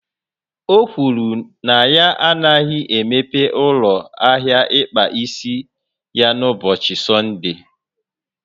O kwuru na ya anaghị emeghe ụlọ ahịa ịkpa isi ya n'ụbọchị Sọnde